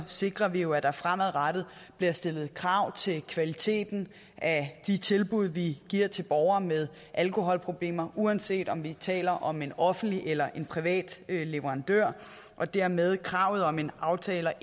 sikrer vi jo at der fremadrettet bliver stillet krav til kvaliteten af de tilbud vi giver til borgere med alkoholproblemer uanset om vi taler om en offentlig eller privat leverandør og dermed ændrer kravet om en aftale